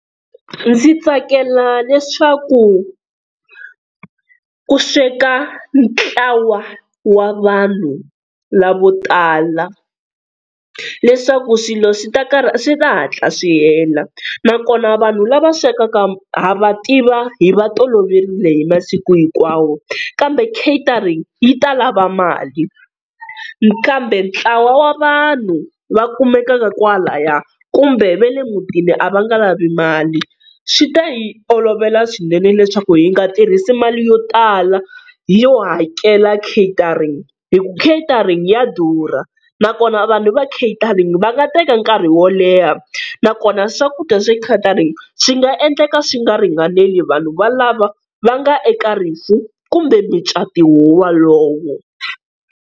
Ndzi tsakela leswaku ku sweka ntlawa wa vanhu lavo tala, leswaku swilo swi ta swi ta hatla swi hela nakona vanhu lava swekaka ha va tiva hi va toloverile hi masiku hinkwawo kambe catering yi ta lava mali kambe ntlawa wa vanhu va kumekaka kwalaya kumbe va le mutini a va nga lavi mali, swi ta hi olovela swinene leswaku hi nga tirhisa mali yo tala yo hakela catering, hi ku catering ya durha nakona vanhu va catering va nga teka nkarhi wo leha nakona swakudya swa catering swi nga endleka swi nga ringaneli vanhu valava va nga eka rifu kumbe micato wo walowo.